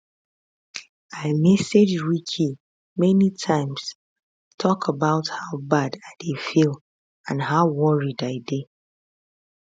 i message ricky many times tok about how bad i dey feel and how worried i dey